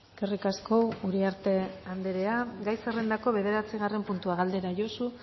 eskerrik asko uriarte anderea gai zerrendako bederatzigarren puntua galdera josu